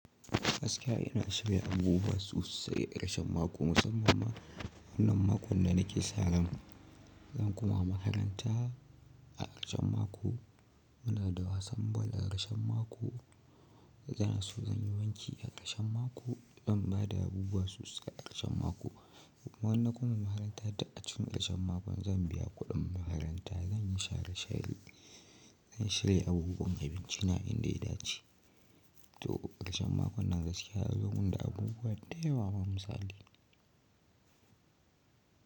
Gaskiya ina shirya abubuwa sosai ƙarshen mako musamman ma wannan makon da nake sa ran. Zan koma makaranta a ƙarshen mako. Muna da wasan bal a ƙarshen mako. Zan so zanyi wanki a ƙarshen mako. Zan bada abubuwa sosai a ƙarshen mako. Idanna koma makaranta duk a cikin ƙarshen makon zan biya kuɗin makaranta. Zan yi share share. Zan shirya abubuwan abincina inda ya dace. To ƙarshen makon nan gaskiya ya zo mun da abubuwa da yawa mamusali.